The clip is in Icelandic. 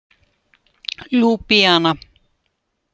Ljúblíana